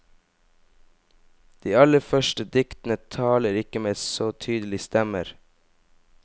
De aller første diktene taler ikke med så tydelige stemmer.